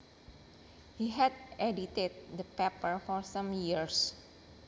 He had edited the paper for some years